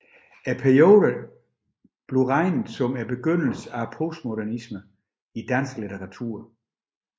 Perioden regnes som begyndelsen af postmodernismen i dansk litteratur